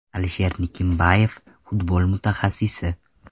Alisher Nikimbayev, futbol mutaxassisi !